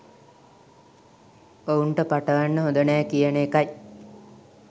ඔවුන්ට පටවන්න හොඳ නෑ කියන එකයි